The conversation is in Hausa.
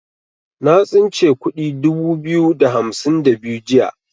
Na tsince kudi dubu biyu da hamsin da biyu jiya.